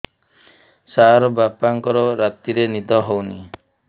ସାର ବାପାଙ୍କର ରାତିରେ ନିଦ ହଉନି